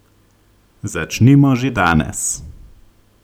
Začnimo že danes!